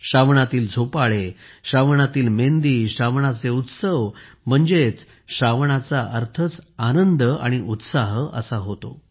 श्रावणातील झोपाळे श्रावणातील मेंदी श्रावणाचे उत्सव म्हणजेच श्रावणाचा अर्थच आनंद आणि उत्साह असा होतो